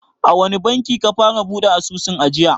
A wani banki ka fara buɗe asusun ajiya?